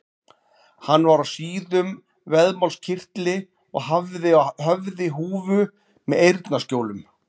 Hann var á síðum vaðmálskyrtli og hafði á höfði húfu með eyrnaskjólum.